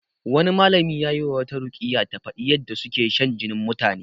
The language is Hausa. Wani malami yayi wa wata ruƙiyya ta faɗi yadda suke shan jinin mutane